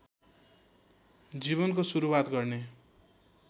जीवनको सुरुवात गर्ने